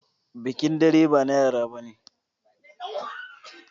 Bikin dare ba na yara bane.